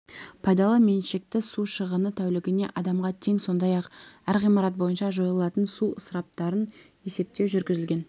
пайдалы меншікті су шығыны тәулігіне адамға тең сондай-ақ әр ғимарат бойынша жойылатын су ысыраптарын есептеу жүргізілген